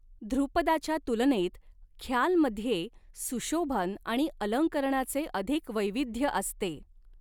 धृपदाच्या तुलनेत ख्यालमध्ये सुशोभन आणि अलंकरणाचे अधिक वैविध्य असते.